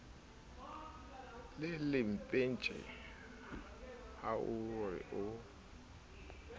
le lempetje ha ore o